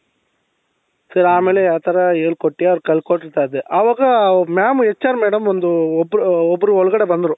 so ಆಮೇಲೆ ಅ ತರ ಹೇಳ್ಕೊಟ್ಟೆ ಅವರ್ಗೆ ಕಲ್ಕೊಡ್ತಾ ಇದ್ದೆ ಅವಾಗ mam HR madam ಒಂದು ಒಬ್ರು ಒಬ್ರು ಒಳಗಡೆ ಬಂದ್ರು